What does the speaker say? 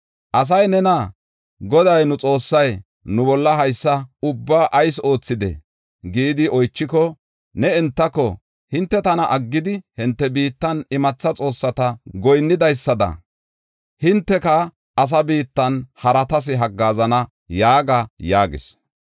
Asay nena, “ ‘Goday nu Xoossay nu bolla haysa ubbaa ayis oothidee?’ gidi oychiko, ne entako, ‘Hinte tana aggidi, hinte biittan imatha xoossata goyinnidaysada, hinteka asa biittan haratas haggaazana’ yaaga” yaagis.